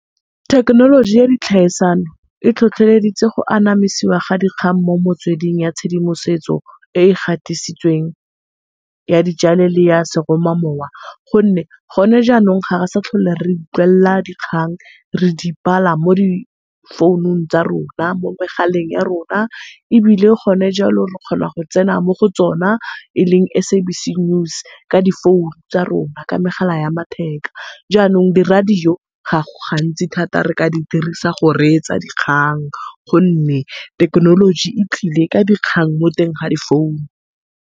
Thekenoloji ya di e tlhotlheleditse go anamisiwa ga dikgang mo metsweding ya tshedimosetso e e gatisitsweng ya di le seroma mowa, gonne gone jaanong ga re sa utlwella dikgang re di bala mo di founung tsa rona mo megaleng ya rona ebile gone jalo re kgona go tsena mo go tsona e leng SABC news ka di founu tsa rona ka megala ya matheka. Jaanong di-radio ga go gantsi thata re ka di dirisa go reetsa dikgang gonne thekenoloji e tlile ka dikgang mo teng ga di founu.